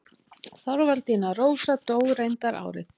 Þorvaldína Rósa dó reyndar árið